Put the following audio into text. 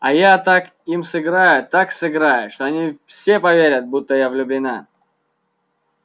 а я так им сыграю так сыграю что они все поверят будто я влюблена